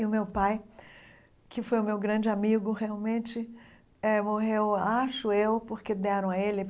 E o meu pai, que foi o meu grande amigo, realmente eh morreu, acho eu, porque deram a ele.